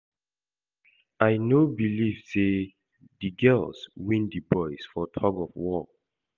I no believe say the girls win the boys for tug of war